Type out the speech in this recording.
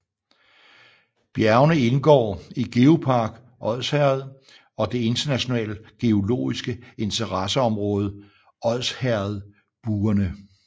Bjergene indgår i GeoPark Odsherred og det internationale geologiske interesseområde Odsherredbuerne